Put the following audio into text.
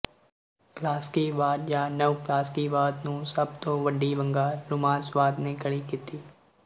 ਕਲਾਸਕੀਵਾਦ ਜਾਂ ਨਵ ਕਲਾਸਕੀਵਾਦ ਨੂੰ ਸਭ ਤੋਂ ਵੱਡੀ ਵੰਗਾਰ ਰੁਮਾਂਸਵਾਦ ਨੇ ਖੜ੍ਹੀ ਕੀਤੀ